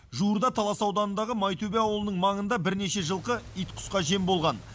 жуырда талас ауданындағы майтөбе ауылының маңында бірнеше жылқы ит құсқа жем болған